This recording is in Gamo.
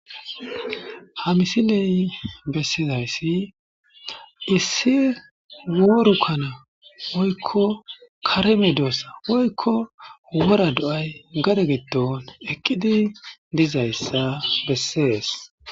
Ha misiley bessizayssi issi woorukkana woykko kareme doossa woykko wora do7ay gade gitton eqqidi dizayssa bessees